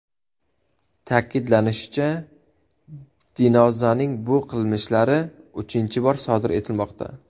Ta’kidlanishicha, Dinozaning bu qilmishlari uchinchi bor sodir etilmoqda.